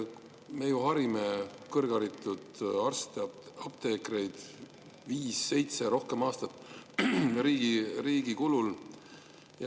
Me ju harime arste ja apteekreid viis, seitse või rohkem aastat riigi kulul.